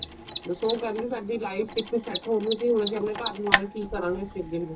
ਬੱਸ ਉਹ ਕਹਿੰਦੇ ਸਾਡੀ life ਕਿੱਥੇ set ਹੋਣ ਸੀ ਹੁਣ ਅਸੀਂ ਆਪਣੇ ਘਰ ਨੂੰ ਆਕੇ ਕੀ ਕਰਾਗੇ ਅਸੀਂ ਅੱਗੇ ਨੂੰ